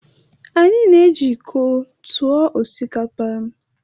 Anyị na-eji iko tụọ osikapa.